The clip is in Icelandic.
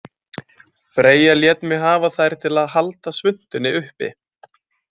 Freyja lét mig hafa þær til að halda svuntunni uppi